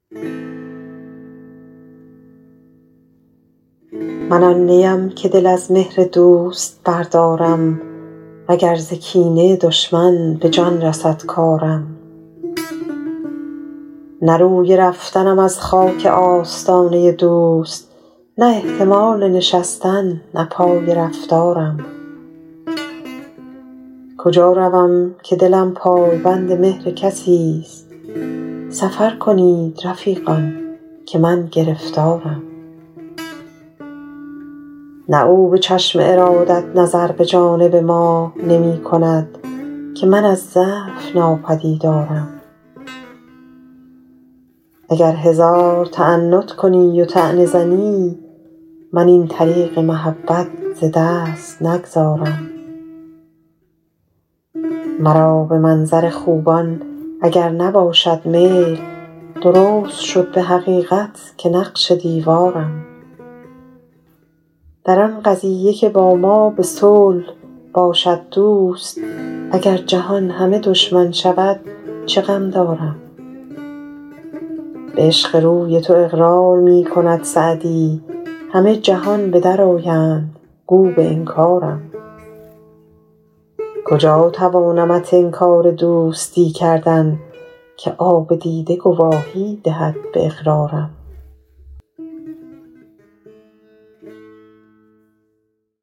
من آن نی ام که دل از مهر دوست بردارم و گر ز کینه دشمن به جان رسد کارم نه روی رفتنم از خاک آستانه دوست نه احتمال نشستن نه پای رفتارم کجا روم که دلم پای بند مهر کسی ست سفر کنید رفیقان که من گرفتارم نه او به چشم ارادت نظر به جانب ما نمی کند که من از ضعف ناپدیدارم اگر هزار تعنت کنی و طعنه زنی من این طریق محبت ز دست نگذارم مرا به منظر خوبان اگر نباشد میل درست شد به حقیقت که نقش دیوارم در آن قضیه که با ما به صلح باشد دوست اگر جهان همه دشمن شود چه غم دارم به عشق روی تو اقرار می کند سعدی همه جهان به در آیند گو به انکارم کجا توانمت انکار دوستی کردن که آب دیده گواهی دهد به اقرارم